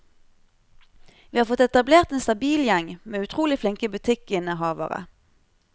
Vi har fått etablert en stabil gjeng med utrolig flinke butikkinnehavere.